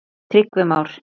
Tryggvi Már.